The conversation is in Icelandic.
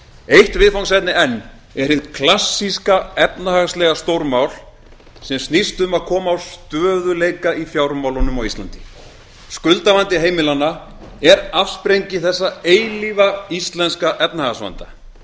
eitt viðfangsefni enn er hið klassíska efnahagslega stórmál sem snýst um að koma á stöðugleika í fjármálunum skuldavandi heimilanna er afsprengi þessa eilífa íslenska efnahagsvanda